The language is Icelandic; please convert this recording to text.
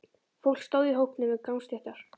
Fólk stóð í hópum við gangstéttar.